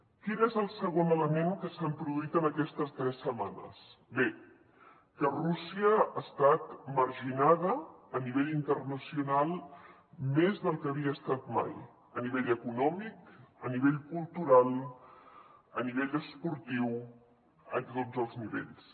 quin és el segon element que s’ha produït en aquestes tres setmanes bé que rússia ha estat marginada a nivell internacional més del que ho havia estat mai a nivell econòmic a nivell cultural a nivell esportiu en tots els nivells